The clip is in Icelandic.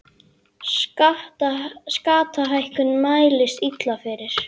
Skattahækkun mælist illa fyrir